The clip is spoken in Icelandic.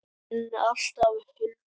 Þín alltaf, Hulda.